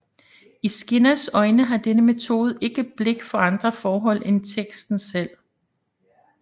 I Skinners øjne har denne metode ikke blik for andre forhold end teksten selv